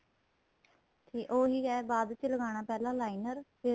ਤੇ ਉਹੀ ਏ ਬਾਅਦ ਵਿੱਚ ਲਗਾਣਾ ਪਹਿਲਾਂ liner ਫੇਰ